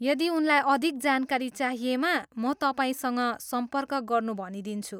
यदि उनलाई अधिक जानकारी चाहिएमा म तपाईँसँग सम्पर्क गर्नु भनिदिन्छु।